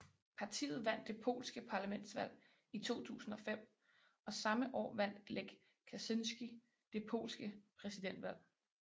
Partiet vandt det polske parlamentsvalg i 2005 og samme år vandt Lech Kaczyński det polske præsidentvalg